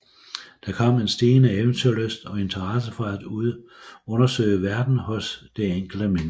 Der kom en stigende eventyrlyst og interesse for at undersøge verden hos det enkelte menneske